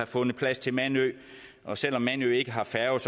fundet plads til mandø og selv om mandø ikke har færge